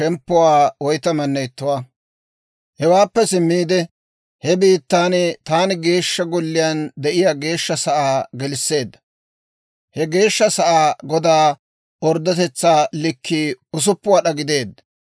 Hewaappe simmiide, he bitanii taana Geeshsha Golliyaan de'iyaa Geeshsha Sa'aa gelisseedda. He Geeshsha Sa'aa godaa orddotetsaa likkina 6 wad'aa gideedda.